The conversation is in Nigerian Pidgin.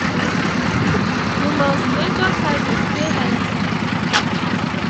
you must measure servings stay healthy.